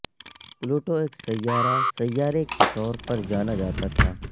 پلٹو ایک سیارہ سیارے کے طور پر جانا جاتا تھا